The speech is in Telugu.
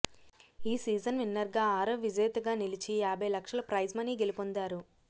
ఈ సీజన్ విన్నర్గా ఆరవ్ విజేతగా నిలిచి యాభై లక్షల ఫ్రైజ్ మనీ గెలిపొందారు